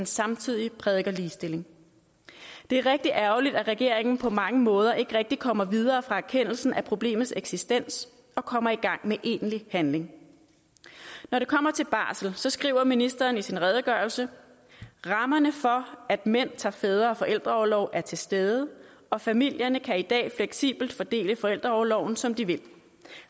samtidig prædiker ligestilling det er rigtig ærgerligt at regeringen på mange måder ikke rigtig kommer videre fra erkendelsen af problemets eksistens og kommer i gang med egentlig handling når det kommer til barsel skriver ministeren i sin redegørelse rammerne for at mænd tager fædre og forældreorlov er til stede og familierne kan i dag fleksibelt fordele forældreorloven som de vil